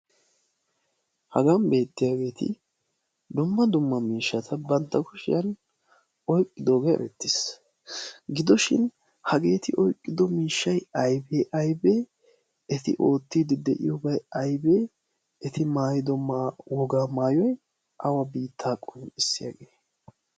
hagan beettiyaageeti domma dumma miishshata bantta kushiyan oiqqidoogee erettiis gidoshin hageeti oiqqido miishshai aibee aibee eti oottiidi de'iyoobai aibee eti maayido woga maayoi awa biittaa qun issi yaagee?